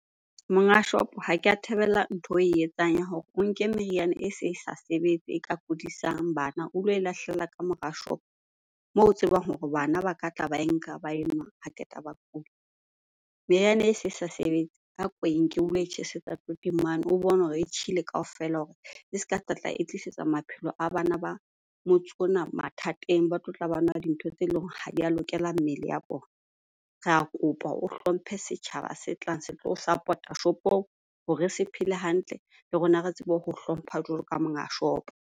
Monga shopo ha ke ya thabela ntho e we etsang ya hore o nke meriana e se e sa sebetse e ka kudisang bana o lo e lahlela ka mora shopo moo o tsebang hore bana ba ka tla ba e nka ba e nwa ha qeta ba kula. Meriana e se sa sebetse, a ko e nke o lo e tjhesetsa toting mane o bone hore e tjhele kaofela hore e ska tlatla e tlisetsa maphelo a bana ba motse ona mathateng ba tlotla ba nwa ntho tse leng hore ha di a lokela mmele ya bona. Re ya kopa o hlomphe setjhaba se tlang se tlo o support-a shopong hore se phele hantle le rona re tsebe ho hlompha jwalo ka monga shopo.